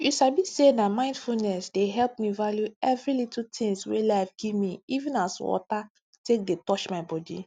you sabi say na mindfulness dey help me value every little tins wey life gimme even as water take dey touch my body